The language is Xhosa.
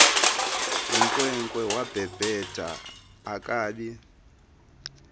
yinkwenkwe wabhebhetha akabi